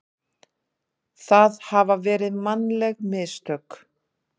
það hafi verið mannleg mistök.